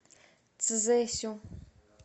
цзесю